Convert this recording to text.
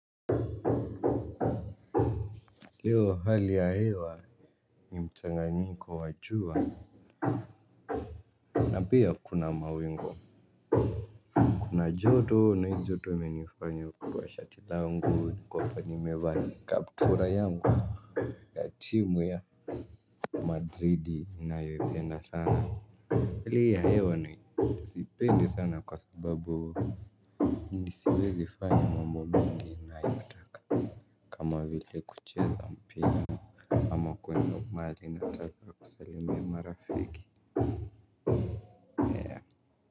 Leo hali ya hewa ni mchanganyiko wa jua. Na pia kuna mawingu. Kuna joto na hii joto imenifanya kutoa shati langu niko hapa nimevaa kaptula yangu ya timu ya Madrid inayoipenda sana. Hali ya hewa siiipendi sana kwa sababu nisiweze fanya mambo mengi nayotaka kama vile kucheza mpira ama kwenda mahali nakata kusalimia marafiki.